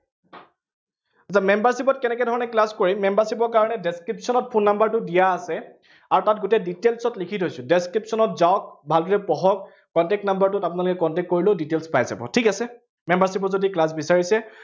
এতিয়া membership ত কেনেকে ধৰনে class কৰিম। membership ৰ কাৰনে description ত phone number টো দিয়া আছে আৰু তাত গোটেই details ত লিখি থৈছো। description ত যাওক, ভালকে পঢ়ক, contact number টোত আপোনালোকে contact কৰিলেও details পাই যাব। ঠিক আছে, membership ত যদি class বিচাৰিছে।